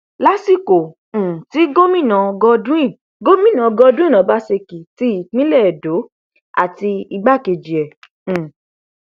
lásìkò um tí gómìnà godwin gómìnà godwin ọbaṣẹkì ti ìpínlẹ edo àti igbákejì ẹ um